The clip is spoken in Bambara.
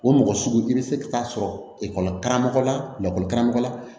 O mɔgɔ sugu i be se ka taa sɔrɔ ekɔli karamɔgɔ lakɔli karamɔgɔ la